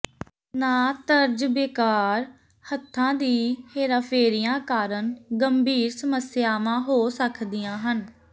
ਨਾ ਤਜਰਬੇਕਾਰ ਹੱਥਾਂ ਦੀ ਹੇਰਾਫੇਰੀਆਂ ਕਾਰਨ ਗੰਭੀਰ ਸਮੱਸਿਆਵਾਂ ਹੋ ਸਕਦੀਆਂ ਹਨ